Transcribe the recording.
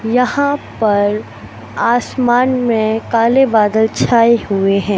यहां पर आसमान में काले बादल छाए हुए हैं।